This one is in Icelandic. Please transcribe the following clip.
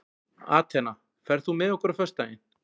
Atena, ferð þú með okkur á föstudaginn?